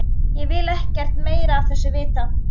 Ég vil ekkert meira af þessu vita.